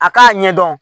A k'a ɲɛdɔn